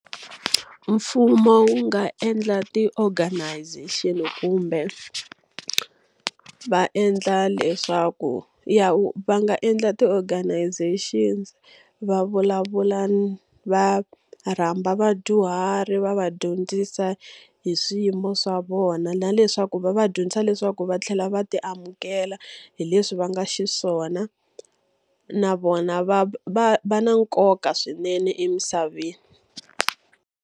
Mfumo wu nga endla ti-organization kumbe va endla leswaku va nga endla ti-organization. Va vulavula va rhamba vadyuhari va va dyondzisa hi swiyimo swa vona na leswaku va va dyondzisa leswaku va tlhela va ti amukela hi leswi va nga xiswona. Na vona va va va na nkoka swinene emisaveni.